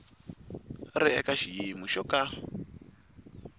ri eka xiyimo xo ka